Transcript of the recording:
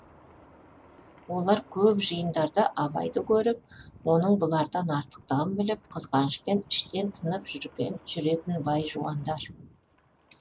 олар көп жиындарда абайды көріп оның бұлардан артықтығын біліп қызғанышпен іштен тынып жүретін бай жуандар